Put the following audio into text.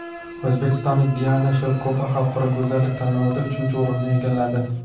O‘zbekistonlik Diana Shelkova xalqaro go‘zallik tanlovida uchinchi o‘rinni egalladi.